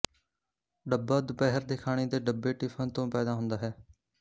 ਡੱਬਾ ਦੁਪਹਿਰ ਦੇ ਖਾਣੇ ਦੇ ਡੱਬੇ ਟਿਫਿਨ ਤੋਂ ਪੈਦਾ ਹੁੰਦਾ ਹੈ